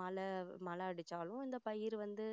மழை மழை அடிச்சாலும் அந்த பயிர் வந்து